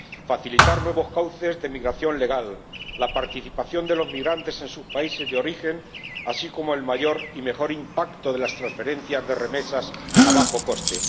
facilitar nuevos cauces de migración legal, la participación de los migrantes en sus países de origen, y el mayor y mejor impacto de las transferencias de remesas a bajo coste